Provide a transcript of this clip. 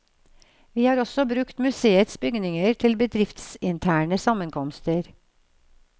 Vi har også brukt museets bygninger til bedriftsinterne sammenkomster.